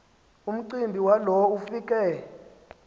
umcimbi walo ufike